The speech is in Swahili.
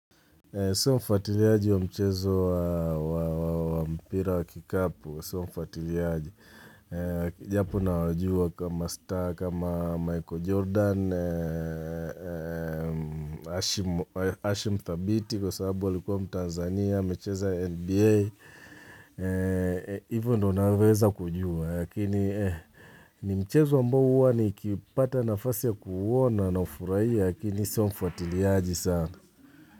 Sio mfuatiliaji wa mchezo wa waa wa kikapu sio mfuatiliaji eeeh Japo na wajua kama star, kama Michael Jordan, eeeeeeeeeh Ashim thabiti kwa sababu alikuwa mtanzania, amecheza NBA. Hivo ndio naweza kujua, lakini ni mchezo ambao uwa ni kipata nafasi ya kuhuona na ufuraia, lakini sio mfuatiliaji sana.